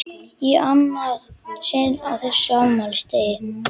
Í annað sinn á þessum afmælisdegi!